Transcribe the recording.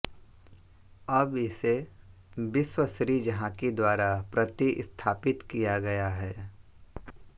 अब इसे विश्व सीरीज़ हॉकी द्वारा प्रतिस्थापित किया गया है